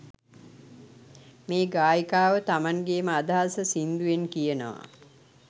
මේ ගායිකාව තමන්ගේ ම අදහස සින්දුවෙන් කියනව